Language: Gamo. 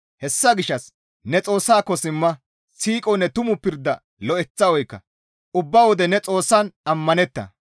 Hessa gishshas ne Xoossako simma; siiqonne tumu pirda lo7eththa oykka; ubba wode ne Xoossan ammanetta.